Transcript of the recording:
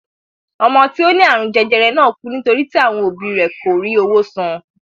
Ọmọ tí ó ní àrùn jẹjẹrẹ náà kú nítorí tí àwọn òbí rẹ kò rí owó san.